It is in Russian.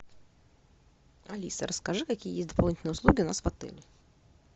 алиса расскажи какие есть дополнительные услуги у нас в отеле